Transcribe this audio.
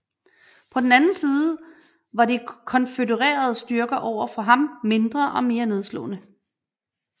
På den anden side var de konfødererede styrker overfor ham mindre og mere nedslåede